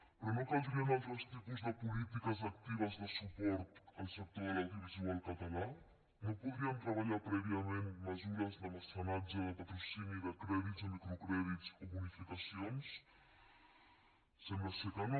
però no caldrien altres tipus de polítiques actives de suport al sector de l’audiovisual català no podrien treballar prèviament mesures de mecenatge de patrocini de crèdits de microcrèdits o bonificacions sembla que no